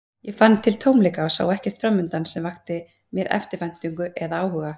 Ég fann til tómleika og sá ekkert framundan sem vakti mér eftirvæntingu eða áhuga.